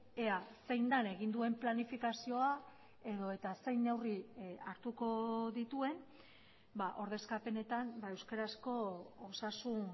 ea zein den egin duen planifikazioa edota zein neurri hartuko dituen ordezkapenetan euskarazko osasun